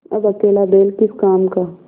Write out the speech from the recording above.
अब अकेला बैल किस काम का